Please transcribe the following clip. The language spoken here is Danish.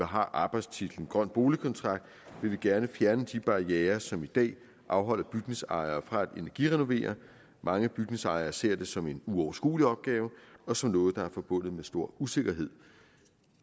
har arbejdstitlen grøn boligkontrakt vil vi gerne fjerne de barrierer som i dag afholder bygningsejere fra at energirenovere mange bygningsejere ser det som en uoverskuelig opgave og som noget der er forbundet med stor usikkerhed